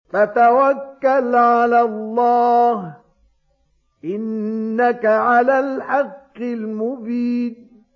فَتَوَكَّلْ عَلَى اللَّهِ ۖ إِنَّكَ عَلَى الْحَقِّ الْمُبِينِ